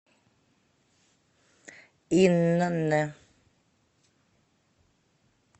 инн